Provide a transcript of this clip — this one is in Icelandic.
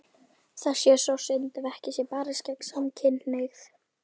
Það sé þó synd ef ekki sé barist gegn samkynhneigð.